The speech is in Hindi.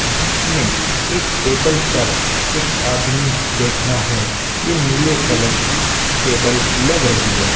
जिसमें एक टेबल पर एक आदमी बैठा है यह नीले कलर की टेबल लग रही है।